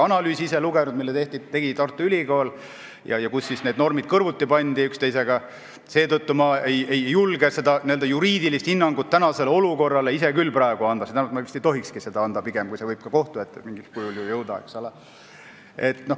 Ma ei ole lugenud ka Tartu Ülikooli tehtud analüüsi, kus need normid pandi üksteisega kõrvuti, seetõttu ma ei julge praegusele olukorrale ise küll n-ö juriidilist hinnangut anda, st pigem ma vist ei tohikski seda anda, kuna see võib mingil kujul ka kohtu ette jõuda.